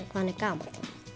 hvað hann er gamall